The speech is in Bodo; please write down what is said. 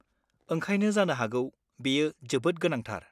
ओंखायनो जानो हागौ बेयो जोबोद गोनांथार?